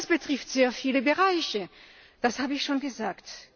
Und das betrifft sehr viele Bereiche, das habe ich schon gesagt.